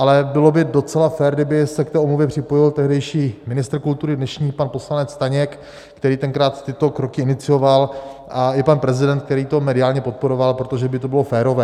Ale bylo by docela fér, kdyby se k té omluvě připojil tehdejší ministr kultury, dnešní pan poslanec Staněk, který tenkrát tyto kroky inicioval, a i pan prezident, který to mediálně podporoval, protože by to bylo férové.